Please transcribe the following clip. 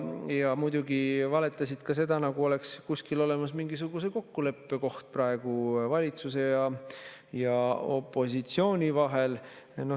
Ja muidugi valetasid ka seda, nagu oleks praegu kuskil olemas mingisuguse kokkuleppe koht valitsuse ja opositsiooni vahel.